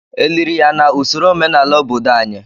Eliri ya na usoro omenala obodo anyị?